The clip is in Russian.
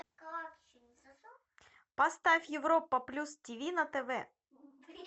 поставь европа плюс тиви на тв